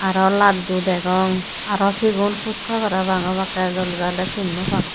araw laddu degong araw sigun huska parapang obakke dole dale sin naw pang.